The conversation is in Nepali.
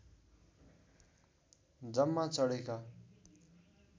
जम्मा चढेको